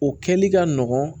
O kɛli ka nɔgɔn